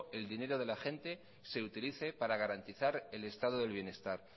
el dinero de la gente se utilice para garantizar el estado del bienestar